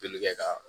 Joli kɛ ka